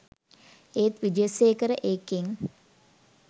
ඒත් විජේසේකර එකෙන්